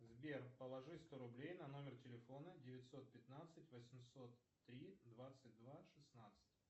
сбер положи сто рублей на номер телефона девятьсот пятнадцать восемьсот три двадцать два шестнадцать